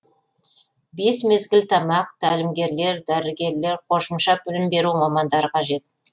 бес мезгіл тамақ тәлімгерлер дәрігерлер қосымша білім беру мамандары қажет